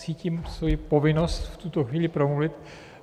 Cítím svoji povinnost v tuto chvíli promluvit.